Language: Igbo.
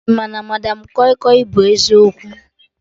Ị ma na madam kọi kọi bụ eziokwu?